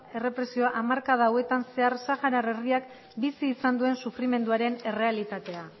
errepresioa hamarkada hauetan zehar saharar herriak bizi izan duen sufrimenduaren errealitatea